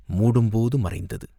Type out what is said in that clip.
மூடும் போது மறைந்தது.